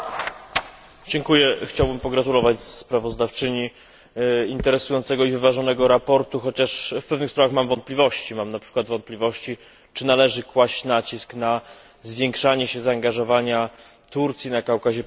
Pani Przewodnicząca! Chciałbym pogratulować sprawozdawczyni interesującego i wyważonego sprawozdania, chociaż w pewnych sprawach mam wątpliwości. Mam na przykład wątpliwości, czy należy kłaść nacisk na zwiększanie zaangażowania Turcji na Kaukazie Południowym.